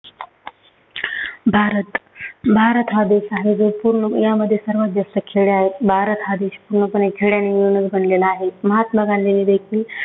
भारत- भारत हा देश आहे जो पूर्ण यामध्ये सर्वात जास्त खेडे आहेत. भारत हा देश पूर्णपणे खेड्यांना मिळवूनच बनलेला आहे. महात्मा गांधींनी देखील